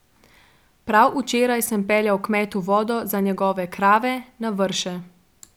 Prav včeraj sem peljal kmetu vodo za njegove krave na Vrše.